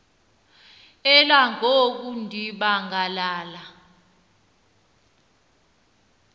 elangoku ndiba ngalala